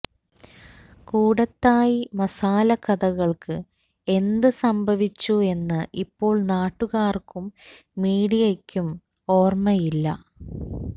കൂടത്തായി മസാല കഥകൾക്ക് എന്ത് സംഭവിച്ചു എന്ന് ഇപ്പോൾ നാട്ടുകാർക്കും മീഡിയക്കും ഓർമ്മയില്ല